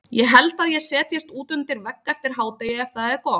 Ég held að ég setjist út undir vegg eftir hádegi ef það er gott.